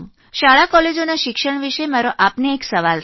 શાળા કોલેજોમાં શિક્ષણ વિષે મારો આપને એક સવાલ છે